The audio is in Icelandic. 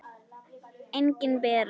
Engin Bera.